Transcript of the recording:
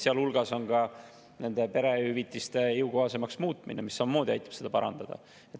Seal hulgas on ka nende perehüvitiste jõukohasemaks muutmine, mis samamoodi aitab seda parandada.